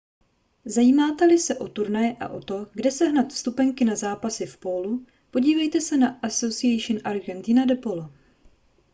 zajímáte-li se o turnaje a o to kde sehnat vstupenky na zápasy v pólu podívejte se na asociacion argentina de polo